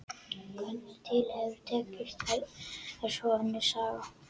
Hvernig til hefur tekist er svo önnur saga.